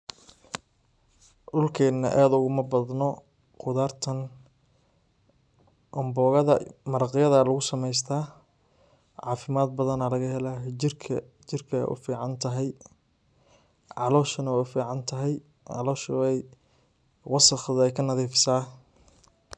Dhulkeena aad ogumaa badnoo qudaartan ambogadaa maraaqyada laguu sameystaa cafimaad badaana lagaa helaa jirkaa jirkey uu ficaan tahaay. calooshana wey uu ficaan tahaay caloshaa wey wasaaq deey kaa nadifiisa.